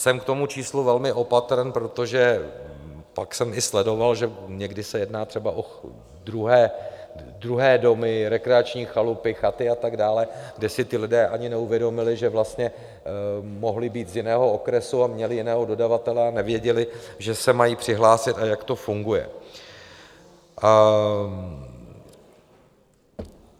Jsem k tomu číslu velmi opatrný, protože pak jsem i sledoval, že někdy se jedná třeba o druhé domy, rekreační chalupy, chaty a tak dále, kde si ti lidé ani neuvědomili, že vlastně mohli být z jiného okresu a měli jiného dodavatele a nevěděli, že se mají přihlásit a jak to funguje.